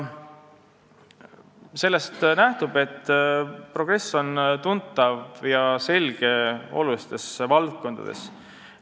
Sellest nähtub, et progress on tuntav ja selge olulistes valdkondades.